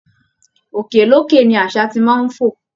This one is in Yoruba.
Òkè lókè ni àṣá ti máa ń fò